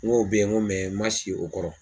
N k'o bɛ ye n ko n man si o kɔrɔ.